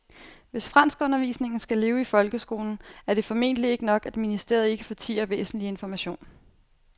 Hvis franskundervisningen skal leve i folkeskolen er det formentlig ikke nok, at ministeriet ikke fortier væsentlig information.